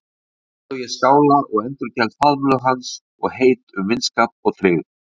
Um leið og ég skála og endurgeld faðmlög hans og heit um vinskap og tryggð.